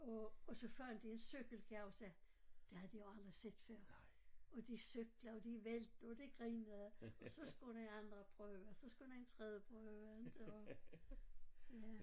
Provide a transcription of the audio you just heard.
Og og så fandt de en cykel kan jeg huske det havde de jo aldrig set før og de cykler og de vælter og de grinede og så skulle de andre prøve og så skulle en tredje prøve inte og ja